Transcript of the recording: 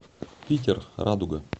питер радуга